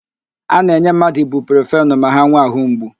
A na-enye mmadụ ibuprofenu ma ha nwee àhụ́ mgbu.